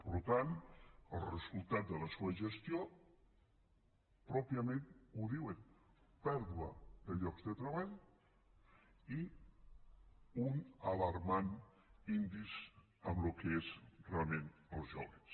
per tant el resultat de la seua gestió pròpiament ho diu pèrdua de llocs de treball i un alarmant índex en el que és realment els jóvens